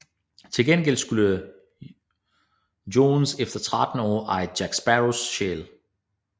Til gengæld skulle Jones efter 13 år eje Jack Sparrows sjæl